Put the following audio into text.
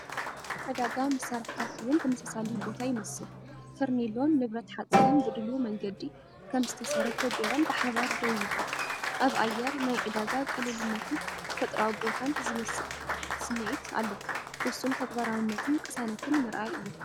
ዕዳጋ መሳርሒታት እውን ተመሳሳሊ ቦታ ይመስል፤ ፈርኔሎን ንብረት ሓጺንን ብድሉው መንገዲ ከም ዝተሰርሑ ጌሮም ብሓባር ደው ይብሉ። ኣብ ኣየር ናይ ዕዳጋ ቅልልነትን ተፈጥሮኣዊ ቦታን ዝብል ስምዒት ኣሎ፤ ውሱን ተግባራውነትን ቅሳነትን ምርኣይ እዩ።